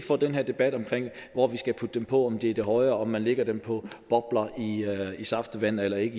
for den her debat om hvor vi skal putte dem på om det er højere om man lægger dem på bobler i saftevand eller ikke